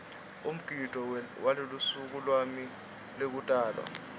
umgidvo welusuku lwami lwekutalwa